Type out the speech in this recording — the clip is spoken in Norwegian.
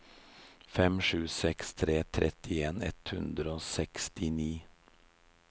fem sju seks tre trettien ett hundre og sekstini